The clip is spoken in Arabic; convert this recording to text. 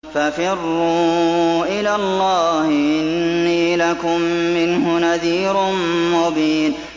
فَفِرُّوا إِلَى اللَّهِ ۖ إِنِّي لَكُم مِّنْهُ نَذِيرٌ مُّبِينٌ